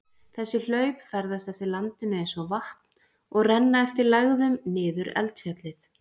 Þessi hlaup ferðast eftir landinu eins og vatn og renna eftir lægðum niður eldfjallið.